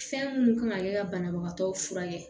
Fɛn minnu kan ka kɛ ka banabagatɔw furakɛ